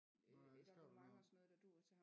Nåh ja det skrev du noget om